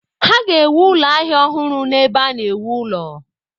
Ha ga-ewu ụlọ ahịa ọhụrụ n’ebe a na-ewu ụlọ